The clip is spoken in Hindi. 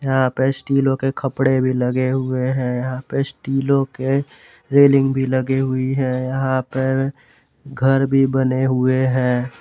यहां पर स्टीलों के खपड़े भी लगे हुए हैं यहां पे स्टीलों के रेलिंग भी लगे हुई है यहां पर घर भी बने हुए हैं।